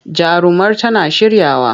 Jarumar tana shiryawa.